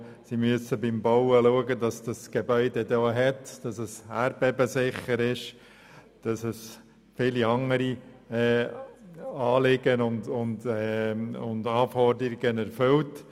So muss darauf geachtet werden, dass das Gebäude nach dem Bauen stabil und erdbebensicher ist und viele andere Anforderungen erfüllt.